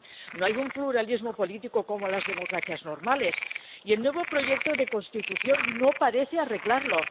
No hay un pluralismo político como en las democracias normales y el nuevo proyecto de Constitución no parece arreglarlo.